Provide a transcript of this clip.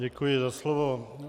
Děkuji za slovo.